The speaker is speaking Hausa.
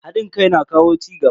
Hadin kai na kawo cigaba.